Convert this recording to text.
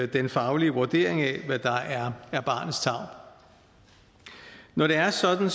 den faglige vurdering af hvad der er er barnets tarv når det er sådan